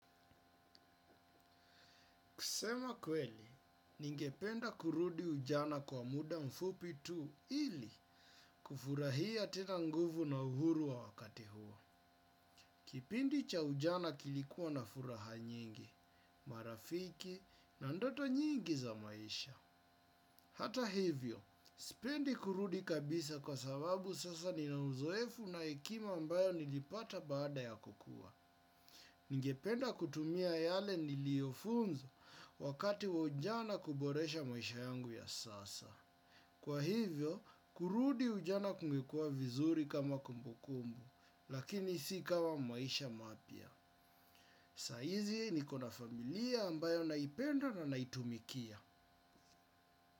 Kusema kweli, ningependa kurudi ujana kwa muda mfupi tu ili, kufurahia tena nguvu na uhuru wa wakati huo. Kipindi cha ujana kilikua na furaha nyingi. Marafiki na ndoto nyingi za maisha. Hata hivyo, spendi kurudi kabisa kwa sababu sasa ninauzoefu na hekima ambayo nilipata baada ya kukua. Ningependa kutumia yale niliofunzo wakati wa ujana kuboresha maisha yangu ya sasa. Kwa hivyo, kurudi ujana kumekuwa vizuri kama kumbukumbu. Lakini si kama maisha mapya. Saizi nikona familia ambayo naipenda na naitumikia.